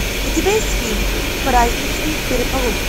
у тебя есть фильм праздничный переполох